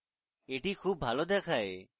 এটি খুব ভালো দেখায়